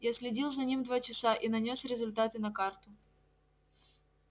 я следил за ним два часа и нанёс результаты на карту